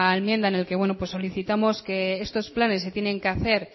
enmienda en el que bueno solicitamos que estos planes se tienen que hacer